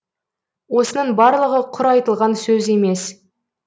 осының барлығы құр айтылған сөз емес